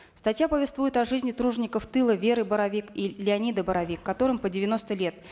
статья повествует о жизни тружеников тыла веры боровик и леонида боровик которым по девяносто лет